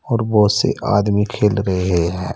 और बहोत से आदमी खेल रहे हैं।